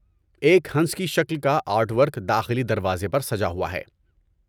ایک ہنس کی شکل کا آرٹ ورک داخلی دروازے پر سجا ہوا ہے۔